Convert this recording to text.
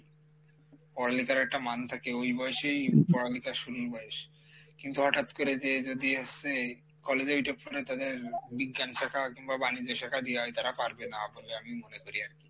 পড়ালিখার একটা মান থাকে ওই বয়সেই পড়ালিখা শুরুর বয়স কিন্তু হঠাৎ করে যে যদি college এ উঠে পরে তাদের বিজ্ঞান শাখা কিংবা বাণিজ্য শাখা দিয়াই তারা পারবে না বলে আমি মনে করি আরকি,